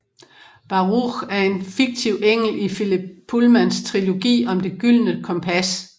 Baruch er en fiktiv engel i Philip Pullmans trilogi om Det gyldne kompas